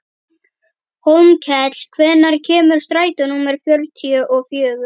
Hólmkell, hvenær kemur strætó númer fjörutíu og fjögur?